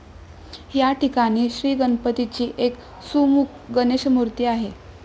याठिकाणी श्रीगणपतीची एक 'सुमुख गणेशमूर्ती' आहे.